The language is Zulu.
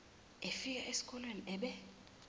efika esikolene ebe